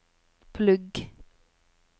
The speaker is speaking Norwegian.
plugg